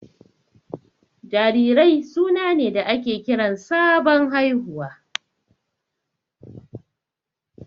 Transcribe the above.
Jarirai suna ne da ake kiran sabon haihuwa.